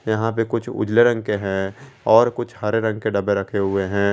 यहां पे कुछ उजले रंग के हैं और कुछ हरे रंग के डब्बे रखे हुए हैं।